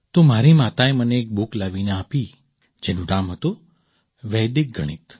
તો મારી માતાએ મને એક બુક લાવીને આપી જેનું નામ હતું વૈદિક ગણિત